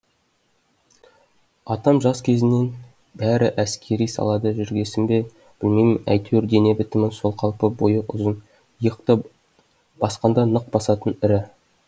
атам жас кезінен бәрі әскери салада жүргесін бе білмеймін әйтеуір дене бітімі сол қалпы бойы ұзын иықты басқанда нық басатын ірі